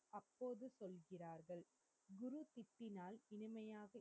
குரு சிப்பினால் இனிமையாக அப்போது சொல்கிறார்கள்